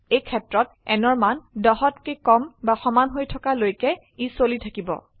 এই ক্ষেত্ৰত nৰ মান 10হত কে কম বা সমান হৈ থকা লৈকে ই চলি থাকিব